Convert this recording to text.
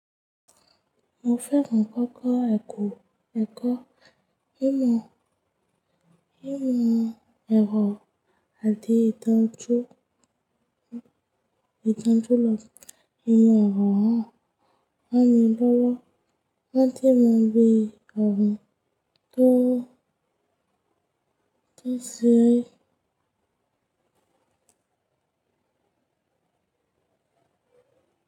Mo fẹ́ràn kókó ẹ̀kọ́ ẹ̀kọ́ ìmọ̀ ìmọ̀ ẹ̀rọ àti ìtàn tó ìtàn tó lọ. Ìmọ̀ ẹ̀rọ náà máa ń lọ́wọ́ láti mọ bí ọ̀hún tó tó ṣe ẹ́.